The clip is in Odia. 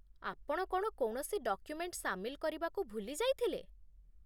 ଆପଣ କ'ଣ କୌଣସି ଡକ୍ୟୁମେଣ୍ଟ ସାମିଲ କରିବାକୁ ଭୁଲି ଯାଇଥିଲେ ?